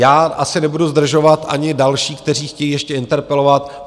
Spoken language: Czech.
Já asi nebudu zdržovat ani další, kteří chtějí ještě interpelovat.